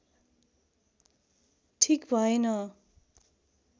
ठिक भएन